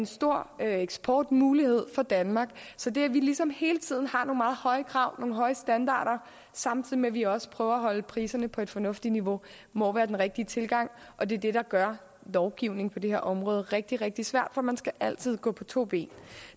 store eksportmuligheder for danmark så det at vi ligesom hele tiden har nogle meget høje krav og høje standarder samtidig med at vi også prøver at holde priserne på et fornuftigt niveau må være den rigtige tilgang og det er det der gør lovgivning på det her område rigtig rigtig svært for man skal altid gå på to ben